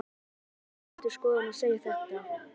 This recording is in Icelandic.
Hvað er Ríkisendurskoðun að segja þarna?